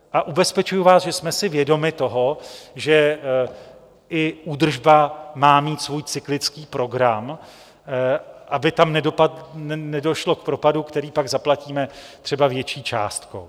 A ubezpečuji vás, že jsme si vědomi toho, že i údržba má mít svůj cyklický program, aby tam nedošlo k propadu, který pak zaplatíme třeba větší částkou.